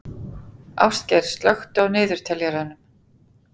Ástgeir, slökktu á niðurteljaranum.